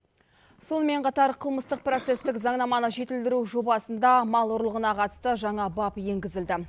сонымен қатар қылмыстық процесстік заңнаманы жетілдіру жобасында мал ұрлығына қатысты жаңа бап енгізілді